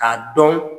K'a dɔn